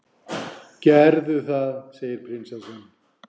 gerðu það, segir prinsessan.